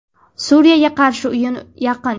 Suriyaga qarshi o‘yin yaqin.